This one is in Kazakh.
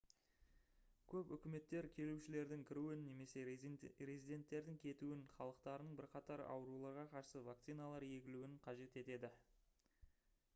көп үкіметтер келушілердің кіруін немесе резиденттердің кетуін халықтарының бірқатар ауруларға қарсы вакциналар егілуін қажет етеді